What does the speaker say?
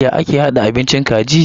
Ya ake hada abincin kaji?